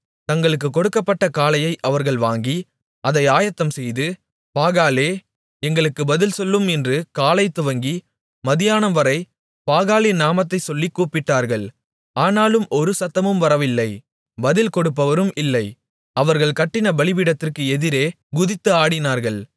தங்களுக்குக் கொடுக்கப்பட்ட காளையை அவர்கள் வாங்கி அதை ஆயத்தம்செய்து பாகாலே எங்களுக்கு பதில் சொல்லும் என்று காலைதுவங்கி மத்தியானம்வரை பாகாலின் நாமத்தைச் சொல்லிக் கூப்பிட்டார்கள் ஆனாலும் ஒரு சத்தமும் வரவில்லை பதில் கொடுப்பவரும் இல்லை அவர்கள் கட்டின பலிபீடத்திற்கு எதிரே குதித்து ஆடினார்கள்